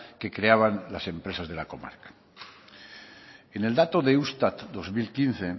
que creaban las empresas de la comarca en el dato de eustat dos mil quince